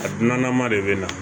A dunanma de bɛ na